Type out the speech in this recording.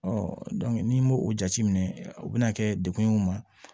n'i m'o o jateminɛ o bɛna kɛ dekun ye u ma